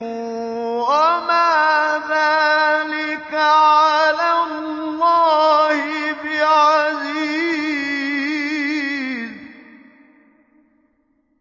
وَمَا ذَٰلِكَ عَلَى اللَّهِ بِعَزِيزٍ